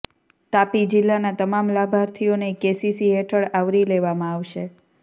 તાપી જિલ્લાના તમામ લાભાર્થીઓને કેસીસી હેઠળ આવરી લેવામાં આવશે